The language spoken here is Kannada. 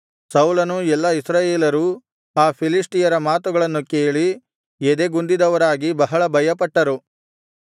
ಸೌಲನೂ ಎಲ್ಲಾ ಇಸ್ರಾಯೇಲರೂ ಆ ಫಿಲಿಷ್ಟಿಯನ ಮಾತುಗಳನ್ನು ಕೇಳಿ ಎದೆಗುಂದಿದವರಾಗಿ ಬಹಳ ಭಯಪಟ್ಟರು